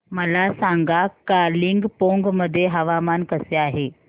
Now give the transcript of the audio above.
मला सांगा कालिंपोंग मध्ये हवामान कसे आहे